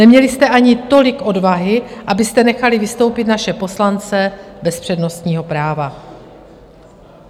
Neměli jste ani tolik odvahy, abyste nechali vystoupit naše poslance bez přednostního práva.